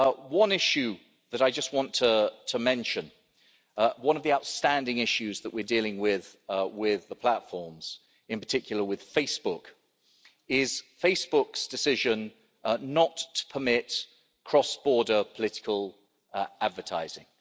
One issue that I just want to mention, one of the outstanding issues that we're dealing with the platforms, in particular with Facebook, is Facebook's decision not to permit cross border political advertising.